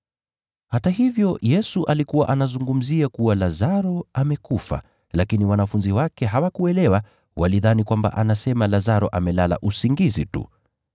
Hata hivyo, Yesu alikuwa anazungumzia kuwa Lazaro amekufa, lakini wanafunzi wake hawakuelewa, walidhani kwamba anasema Lazaro amelala usingizi tu.